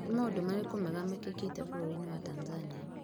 Nĩ maũndũ marĩkũ mega mĩkekete bũrũri inĩ wa Tanzania?